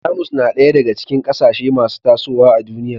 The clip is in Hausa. Jamus na ɗaya daga cikin ƙasashe masu tasowa a duniya